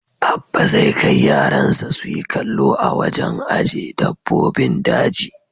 Abba zai kai rayansa su yi kallo a wajen aje dabbobin daji.